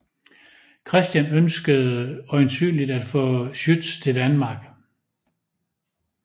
Christian ønskede øjensynligt at få Schütz til Danmark